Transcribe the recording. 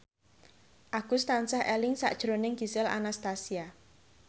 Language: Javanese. Agus tansah eling sakjroning Gisel Anastasia